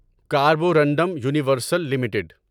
Carborundum Universal limited